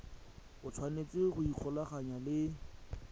o tshwanetse go ikgolaganya le